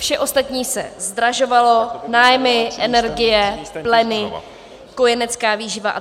Vše ostatní se zdražovalo, nájmy, energie, pleny, kojenecká výživa atd.